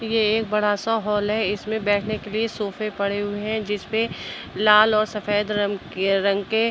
ये ए बड़ा सा हॉल है। इसमें बैठने के लिए सोफ़े पड़े हुए हैं जिसपे लाल औ सफेद रंम् क् रंग के --